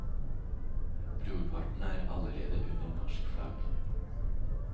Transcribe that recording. Brorparten er allerede under norsk flagg.